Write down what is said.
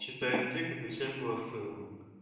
читаем текст отвечаем голосовым